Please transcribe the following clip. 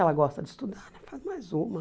Ela gosta de estudar, faz mais uma.